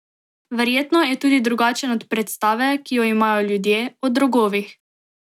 Verjetno je tudi drugačen od predstave, ki jo imajo ljudje, o drogovih.